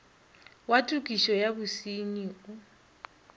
wa tokišo ya bosenyi o